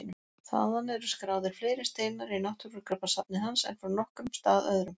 Þaðan eru skráðir fleiri steinar í náttúrugripasafni hans en frá nokkrum stað öðrum.